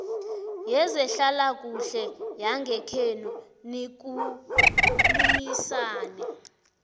yezehlalakuhle yangekhenu nikhulumisane